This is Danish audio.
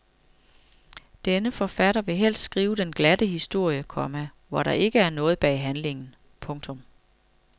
Denne forfatter vil helst skrive den glatte historie, komma hvor der ikke er noget bag handlingen. punktum